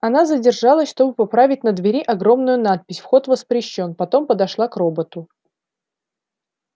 она задержалась чтобы поправить на двери огромную надпись вход воспрещён потом подошла к роботу